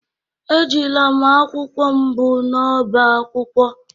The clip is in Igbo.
Ejila m akwụkwọ m bu n’ọ́bá akwụkwọ.